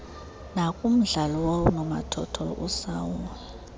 nakumdlalo woonomathotholo usaule